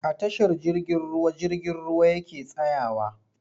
A tashar jirgin ruwa jirgin ruwa yake tsayawa.